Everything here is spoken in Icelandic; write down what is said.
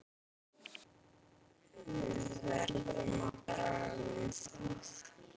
Við verðum að draga um það.